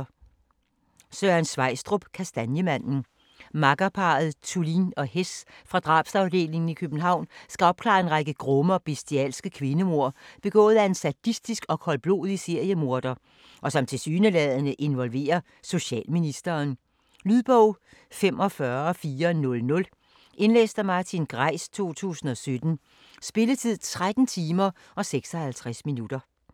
Sveistrup, Søren: Kastanjemanden Makkerparret Thulin og Hess fra drabsafdelingen i København skal opklare en række grumme og bestialske kvindemord begået af en sadistisk og koldblodig seriemorder og som tilsyneladende involverer socialministeren. Lydbog 45400 Indlæst af Martin Greis, 2017. Spilletid: 13 timer, 56 minutter.